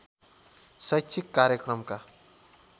शैक्षिक कार्यक्रमका